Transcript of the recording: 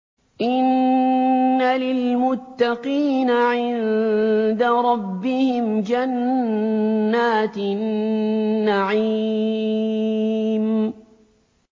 إِنَّ لِلْمُتَّقِينَ عِندَ رَبِّهِمْ جَنَّاتِ النَّعِيمِ